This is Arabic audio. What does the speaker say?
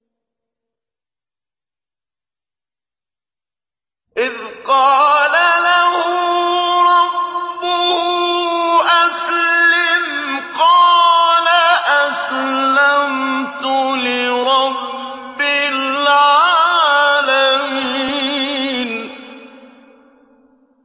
إِذْ قَالَ لَهُ رَبُّهُ أَسْلِمْ ۖ قَالَ أَسْلَمْتُ لِرَبِّ الْعَالَمِينَ